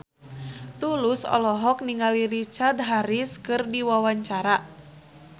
Tulus olohok ningali Richard Harris keur diwawancara